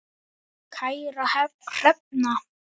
Kæra Hrefna